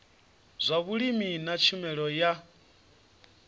zwa vhulimi na tshumelo ya